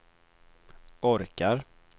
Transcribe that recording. orkar